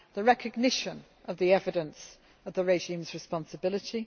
recognition of the evidence of the regime's responsibility